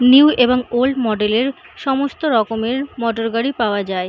New এবং old model এর সমস্ত রকমের মোটরগাড়ি পাওয়া যায়।